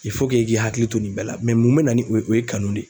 i k'i hakili to nin bɛɛ la mun bɛ na ni o ye o ye kanu ye.